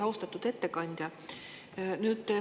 Austatud ettekandja!